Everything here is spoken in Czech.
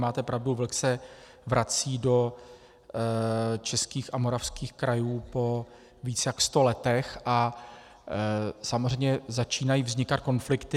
Máte pravdu, vlk se vrací do českých a moravských krajů po víc jak sto letech a samozřejmě začínají vznikat konflikty.